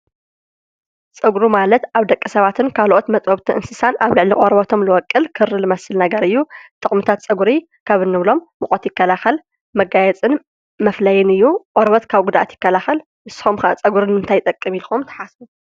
ፀጉሪ ማለት አብ ደቂ ሰባትን ካልአት መጥቦውቲ እንስሳ አብ ልዕሊ ቆርበቶም ዝበቁል ክሪ ዝመስል ነገር እዩ ጥቅምታት ፀጉሪ ካብ እንብሎ ሙቀት ይከላከል መጋየፂን መፈለይን እዩ። ቆርበት ካብ ጉደአት ይከላከል ንስኩም ከ ፀጉሪ ንምንታይ ይጠቅም ኢልኩም ትሓስቡ?